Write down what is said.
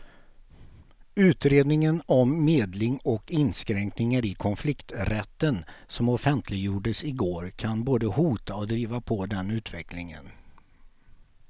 Utredningen om medling och inskränkningar i konflikträtten som offentliggjordes i går kan både hota och driva på den utvecklingen.